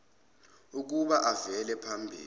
ukuba avele phambi